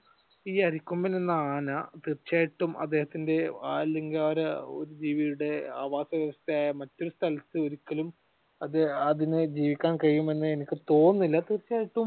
ഈ അരിക്കൊമ്പൻ എന്ന ആന തീർച്ചയായ്യിട്ടും അദ്ദേഹത്തിന്റെ അല്ലെങ്കിൽ ആ ഒരു ജീവിയുടെ ആവാസവ്യവസ്ഥയായ മറ്റൊരു സ്ഥലത്തു ഒരിക്കലും അത് അതിന് ജീവിക്കാൻ കഴിയുമെന്ന് എനിക്ക് തോന്നുന്നില്ല. തീർച്ചയായിട്ടും